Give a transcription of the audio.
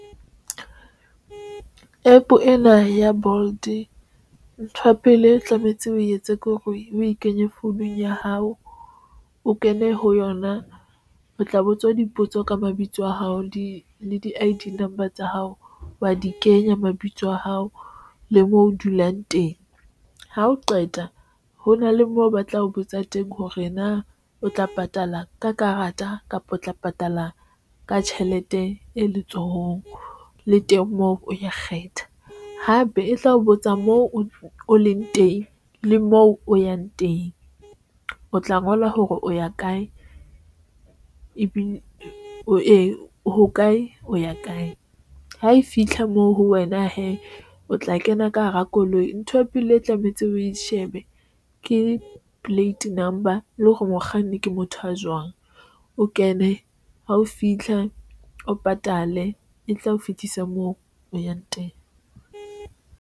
APP ena ya Bolt ntho ya pele tlametse o etse ke hore o e kenye founung ya hao, o kene ho yona o tla botswa dipotso ka mabitso a hao le di le di I_D number tsa hao wa di kenya mabitso a hao le moo o dulang teng. Ha o qeta ho na le moo, ba tla o botsa teng hore na o tla patala ka karata kapa o tla patala ka tjhelete e letsohong le teng moo o ya kgetha hape e tla o botsa moo o leng teng. Le moo o yang teng o tla ngola hore o ya kae ebile o ye hokae, o ya kae ha e fitlha moo ho wena hee o tla kena ka hara koloi ntho ya pele e tlametse o ko shebe ke plate number le hore mokganni ke motho a jwang o kene ha o fitlha, o patale e tla o fitlhisa moo o yang teng.